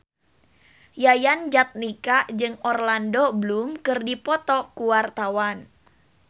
Yayan Jatnika jeung Orlando Bloom keur dipoto ku wartawan